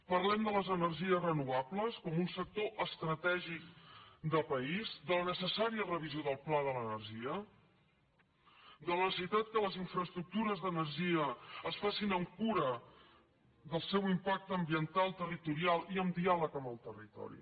parlem de les energies renovables com un sector estratègic de país de la necessària revisió del pla de l’energia de la necessitat que les infraestructures d’energia es facin amb cura del seu impacte ambiental territorial i amb diàleg amb el territori